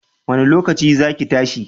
Wanne lokaci za ki tashi?